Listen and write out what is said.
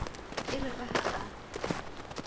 e re ka ha o